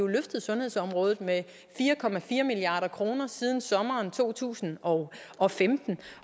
løftet sundhedsområdet med fire milliard kroner siden sommeren to tusind og og femten